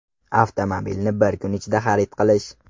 Avtomobilni bir kun ichida xarid qilish.